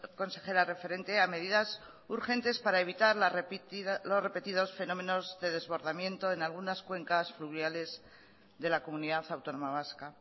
consejera referente a medidas urgentes para evitar los repetidos fenómenos de desbordamiento en algunas cuencas fluviales de la comunidad autónoma vasca